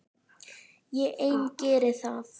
Ég ein geri það.